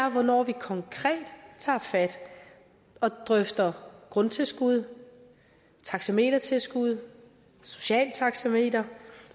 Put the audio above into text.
og hvornår vi konkret tager fat og drøfter grundtilskud taxametertilskud socialt taxameter